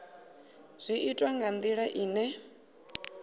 zwi itwa nga ndila ine